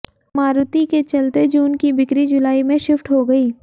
मारुति के चलते जून की बिक्री जुलाई में शिफ्ट हो गई